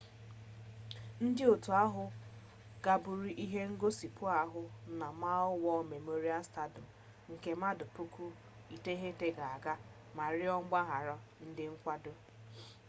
ndị otu ahụ kagburu ihe ngosipụ ahụ na maui's war memorial stadium nke mmadụ 9,000 ga-aga ma rịọ mgbaghara ndị nkwado